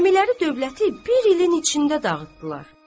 Əmiləri dövləti bir ilin içində dağıtdılar.